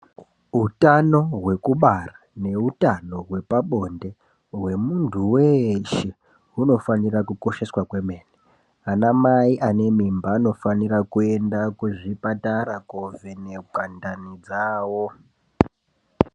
Hutano hwekubara nehutano hwepabonde wemuntu weshe hunofanirwa kukosheswa kwemene ana mai ane mimba anofanirwa kuenda kuzvipatara kovhenekwa ndani dzawo.